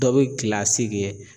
Dɔ be kɛ